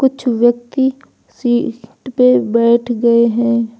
कुछ व्यक्ति seat पे बैठ गए हैं।